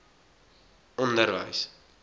onderwys